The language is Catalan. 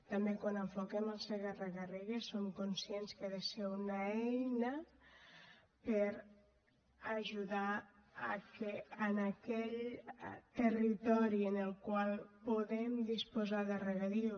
també quan enfoquem el segarra garrigues som conscients que ha de ser una eina per a ajudar que en aquell territori en el qual podem disposar de regadiu